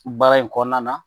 Baara in kɔnɔna na